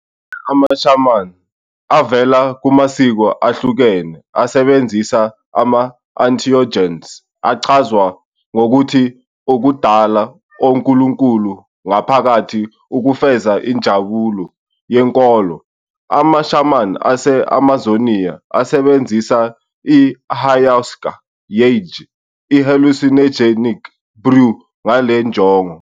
Amanye ama-shaman avela kumasiko ehlukene asebenzisa ama-entheogens, achazwa ngokuthi "ukudala oNkulunkulu ngaphakathi" ukufeza injabulo yenkolo. Ama-shaman ase-Amazonia asebenzisa i-ayahuasca, yagé, i-hallucinogenic brew ngale njongo.